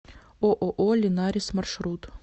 ооо линарис маршрут